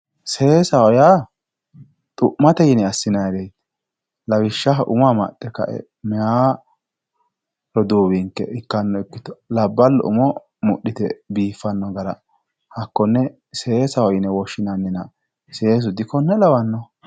seesaho yaa xu'mate yine assinannireeti lawishshaho umo amaxxe ka"e meyaa roduuwinke ikkanno ikkito labballu umo mudhite biiffanno gara hakkonne seesaho yine woshshinannina seesu dikonne lawannoho